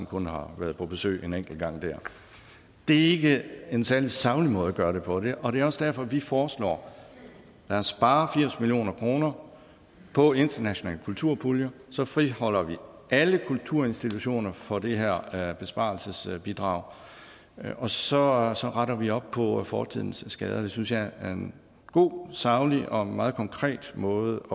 kun har været på besøg en enkelt gang der det er ikke en særlig saglig måde at gøre det på og det er også derfor vi foreslår at spare firs million kroner på internationale kulturpuljer og så friholder vi alle kulturinstitutioner for det her besparelsesbidrag og så og så retter vi op på fortidens skader det synes jeg er en god saglig og meget konkret måde